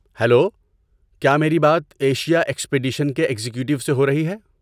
Hello! کیا میری بات ایشیا ایکسپیڈیشن کے ایگزیکٹو سے ہو رہی ہے؟